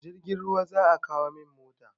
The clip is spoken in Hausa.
A jirgin ruwa za a kawo min mota.